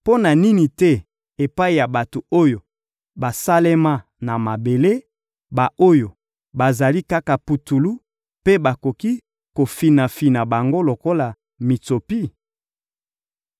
mpo na nini te epai ya bato oyo basalema na mabele, ba-oyo bazali kaka putulu mpe bakoki kofinafina bango lokola mitsopi?